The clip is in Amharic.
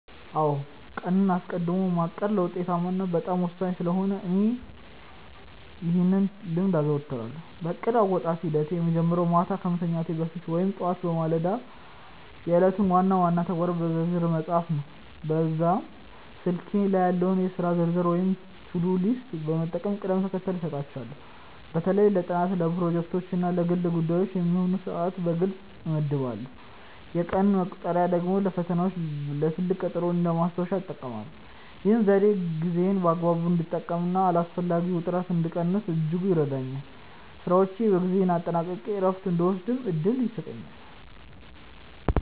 አዎ ቀንን አስቀድሞ ማቀድ ለውጤታማነት በጣም ወሳኝ ስለሆነ እኔም ይህን ልምድ አዘወትራለሁ። የእቅድ አወጣጥ ሂደቴ የሚጀምረው ማታ ከመተኛቴ በፊት ወይም ጠዋት በማለዳ የዕለቱን ዋና ዋና ተግባራት በዝርዝር በመጻፍ ነው። ለዚህም በስልኬ ላይ ያለውን የሥራ ዝርዝር ወይም ቱዱ ሊስት በመጠቀም ቅደም ተከተል እሰጣቸዋለሁ። በተለይ ለጥናት፣ ለፕሮጀክቶች እና ለግል ጉዳዮች የሚሆኑ ሰዓታትን በግልጽ እመድባለሁ። የቀን መቁጠሪያ ደግሞ ለፈተናዎችና ለትልቅ ቀጠሮዎች እንደ ማስታወሻ እጠቀማለሁ። ይህ ዘዴ ጊዜዬን በአግባቡ እንድጠቀምና አላስፈላጊ ውጥረትን እንድቀንስ በእጅጉ ይረዳኛል። ስራዎቼን በጊዜ አጠናቅቄ እረፍት እንድወስድም እድል ይሰጠኛል።